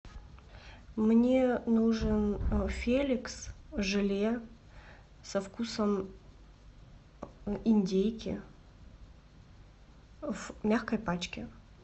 мне нужен феликс желе со вкусом индейки в мягкой пачке